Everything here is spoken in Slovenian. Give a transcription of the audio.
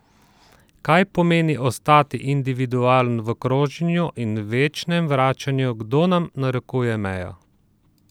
Kaj pomeni ostati individualen v kroženju in večnem vračanju, kdo nam narekuje mejo?